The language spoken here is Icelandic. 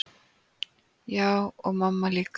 Já, og mamma líka.